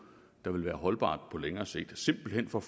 der ville være holdbart på længere sigt simpelt hen for